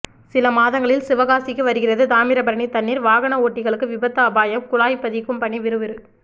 சில மாதங்களில் சிவகாசிக்கு வருகிறது தாமிரபரணி தண்ணீர் வாகன ஓட்டிகளுக்கு விபத்து அபாயம்குழாய் பதிக்கும் பணி விறுவிறு